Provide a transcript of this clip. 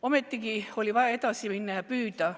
Ometi oli vaja edasi minna ja püüda.